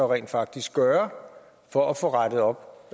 rent faktisk gøre for at få rettet op